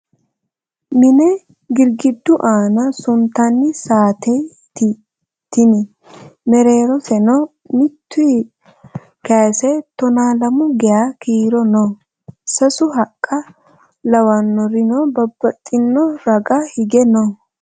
Mine girgiddu aana suntanni saateyi tini. Mereeroseno mittuyi kayiisse tonaa lamu geyaa kiiro no. Sasu haqqa lawanorino babbaxino raga hige no.